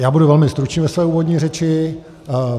Já budu velmi stručný ve své úvodní řeči.